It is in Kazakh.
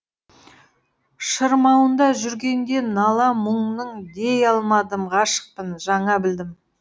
шырмауында жүргенде нала мұңның дей алмадым ғашықпын жаңа білдім